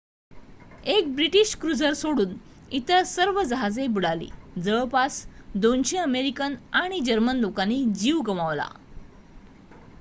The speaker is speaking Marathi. एक ब्रिटिश क्रुझर सोडून इतर सर्व जहाजे बुडाली. जवळपास २०० अमेरिकन आणि जर्मन लोकांनी जीव गमावला